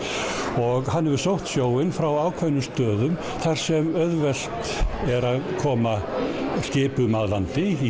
og hann hefur sótt sjóinn frá ákveðnum stöðum þar sem auðvelt er að koma skipum að landi í